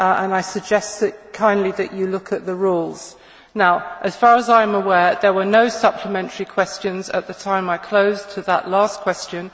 I suggest that you look at the Rules. As far as I am aware, there were no supplementary questions at the time I closed the last question.